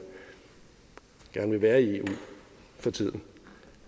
gerne vil være i eu for tiden